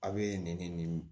A bɛ nɛn ni